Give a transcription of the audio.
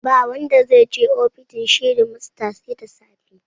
Ba wanda zai je ofishin shedimasta sai da safe